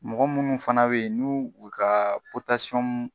Mɔgɔ munnu fana be yen n'u u ka